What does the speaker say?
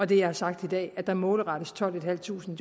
det jeg har sagt i dag er at der målretter vi tolvtusinde